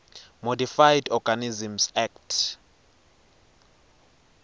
modified organisms act